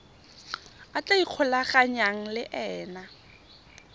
a tla ikgolaganyang le ena